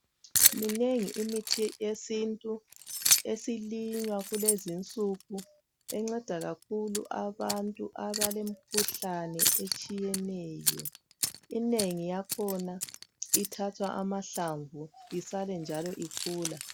Minengi imithi yesintu ,esilinywa kulezinsuku. Enceda kakhulu abantu abalemikhuhlane etshiyeneyo, inengi yakhona ithathwa amahlamvu. Isale njalo ikhula.